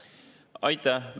Aitäh!